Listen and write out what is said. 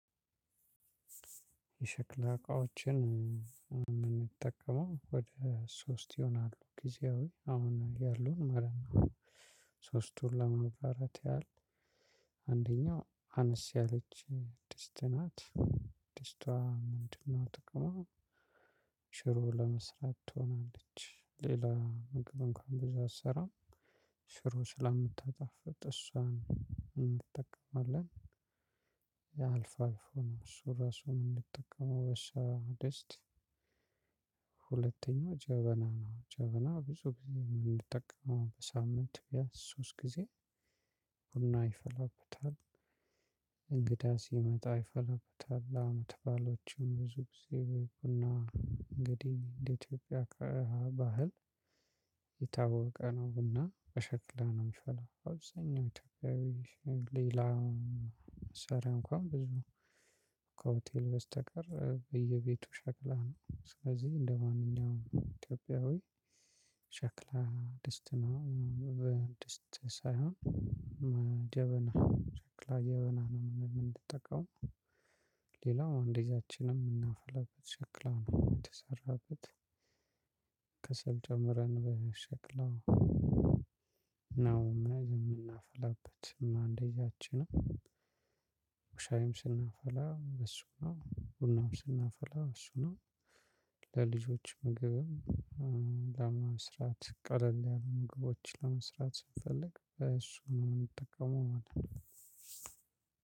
የሸክላ እቃዎችን እምንጠቀመው ወደ ሶስት ይሆናሉ ጊዜያዊ አሁን ያሉን ማለት ነው። ሶስቱን ለማብራራት ያህል። አንደኛው አነስ ያለች ድስት ናት። ድስቷ ምንድነው? ጥቅሙ። ሽሮ ለመስራት ትሆናለች ሌላ ምግብ እንኳን ብዙ አትሰራም። ሽሮ ስለምታጣፍጥ እሷን እንጠቀማለን። ያው አልፋአልፎ ነው እሱን እራሱ የምንጠቀመው። ሁለተኛው ጀበና ነው። ጀበና ብዙ ጊዜ የምንጠቀመው በሳምንት ሶስት ጊዜ። ቡና ይፈላበታል። እንግዳ ሲመጣ ይፈለብታል አመት ባሎችም ብዙ ጊዜ ቡና እንግዲህ እንደ ኢትዮጵያ ከእሃ ባህል። የታወቀ ነው። ቡና በሸክላ ነው የሚፈላው በአብዛኛው ኢትዮጵያዊ። ሌላ መሳሪያ እንኳን ብዙ። ከሆቴል በስተቀር በየቤቱ ሸክላ ነው። ስለዚህ እንደማንኛውም ኢትዮጵያዊ። ሸክላ ድስት ድስት ሳይሆን ጀበና ሸክላ የበና ነው የምንጠቀመው። ሌላው አንደቻችንም የምናፈላበት ሸክላ ነው የተሰራበት። ከሰል ጨምረን በሸክላው ነው ምን ምናፈላበት እንደያችንም ሻይም ስናፈላ ብእሱ ነው ቡናም ስናፈላ ብእሱ ነው። ለልጆች ምግብ ለመስራት ቀለል ያሉ ምግቦች ለመስራት ስንፈልግ በእሱ ነው እምንጠቀመው ማለት ነው።